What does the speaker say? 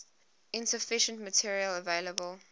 insufficient material available